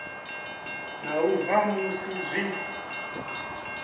na u bva musi zwi